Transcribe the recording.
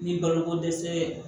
Ni baloko dɛsɛ ye